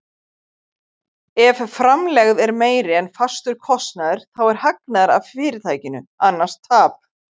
Ef framlegð er meiri en fastur kostnaður þá er hagnaður af fyrirtækinu, annars tap.